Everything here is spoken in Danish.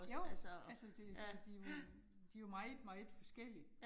Jo altså det de de jo de jo meget meget forskellige